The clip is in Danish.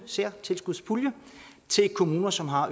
særtilskudspulje til kommuner som har